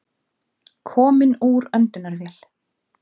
Kominn úr öndunarvél